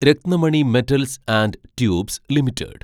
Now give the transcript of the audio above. Ratnamani metals and tubes limited